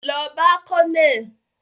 Lọ bá colonel!